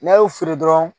N'a y'u feere dɔrɔn